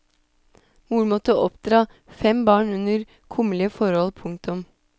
Moren måtte oppdra fem barn under kummerlige forhold. punktum